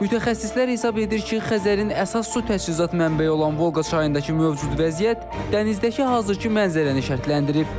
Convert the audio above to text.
Mütəxəssislər hesab edir ki, Xəzərin əsas su təchizatı mənbəyi olan Volqa çayındakı mövcud vəziyyət dənizdəki hazırkı mənzərəni şərtləndirib.